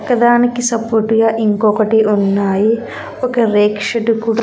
ఒక దానికి సపోర్టుగా ఇంకొకటి ఉన్నాయి ఒక రేక్ షెడ్ కూడా.